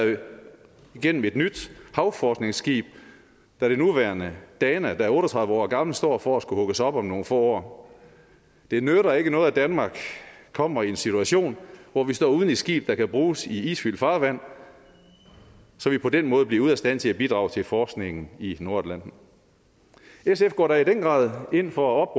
igennem et nyt havforskningsskib da det nuværende dana der er otte og tredive år gammelt står for at skulle hugges op om nogle få år det nytter ikke noget at danmark kommer i en situation hvor vi står uden et skib der kan bruges i isfyldt farvand så vi på den måde bliver ude af stand til at bidrage til forskningen i nordatlanten sf går da i den grad ind for at